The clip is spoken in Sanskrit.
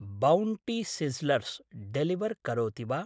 बौण्टी सिस्स्लर्स् डेलिवर् करोति वा?